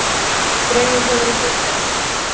Dregið hefur úr geislavirkni